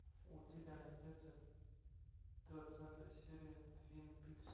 у тебя найдется двадцатая серия твин пикс